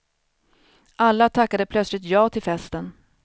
Alla tackade plötsligt ja till festen.